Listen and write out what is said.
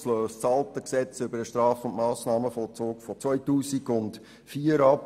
Es löst das alte Gesetz über den Straf- und Massnahmenvollzug aus dem Jahr 2004 ab.